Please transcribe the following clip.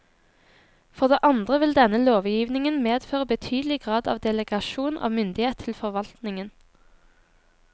For det andre ville denne lovgivningen medføre betydelig grad av delegasjon av myndighet til forvaltningen.